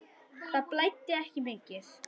Það blæddi ekki mikið.